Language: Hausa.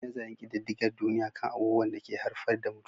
Yi nazarin kididdigar duniya kan abubuwan da ke haifar da mutuwa